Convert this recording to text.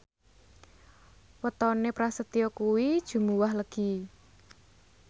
wetone Prasetyo kuwi Jumuwah Legi